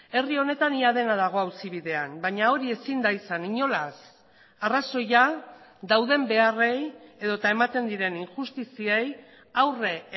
herri honetan ia dena dago auzi bidean baina hori ezin da izan inolaz arrazoia dauden beharrei edota ematen diren injustiziei aurre